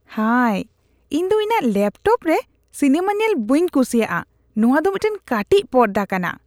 ᱦᱟᱭ, ᱤᱧ ᱫᱚ ᱤᱧᱟᱜ ᱞᱮᱯᱴᱚᱯ ᱨᱮ ᱥᱤᱱᱟᱹᱢᱟ ᱧᱮᱞ ᱵᱟᱹᱧ ᱠᱩᱥᱤᱭᱟᱜᱼᱟ ᱾ ᱱᱚᱣᱟ ᱫᱚ ᱢᱤᱫᱴᱟᱝ ᱠᱟᱹᱴᱤᱡ ᱯᱚᱨᱫᱟ ᱠᱟᱱᱟ ᱾